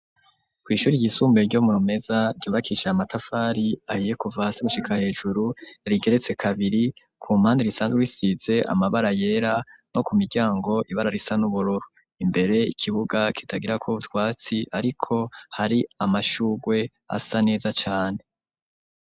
Kw'ishuri ryisumbuye ryo mu meza ryubakisha amatafari ahiye kuva hasi gushika hejuru rigeretse kabiri ku mpandi risanzwe isize amabara yera no ku miryango ibara risa n'uburoro imbere ikibuga kitagira ko butwatsi, ariko hari amashurwe asa neza cane.